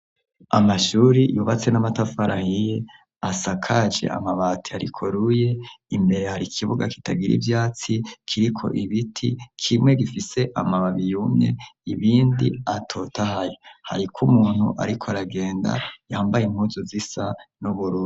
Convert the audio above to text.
Amashuri yubatse n'amatafarahiye asakaje amabati arikoruye imbere hari ikibuga kitagira ivyatsi kiriko ibiti kimwe gifise amababiyumye ibindi atotaye hariko umuntu, ariko aragenda yambaye impuzu zisa n'uburuna.